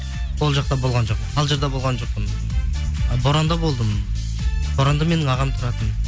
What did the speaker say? ол жақта болған жоқпын қалжырда болған жоқпын боранда болдым боранда менің ағам тұратын